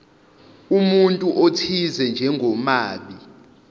umuntu othize njengomabi